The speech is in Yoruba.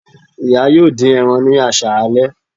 Iya yoo din eran ni aṣalẹ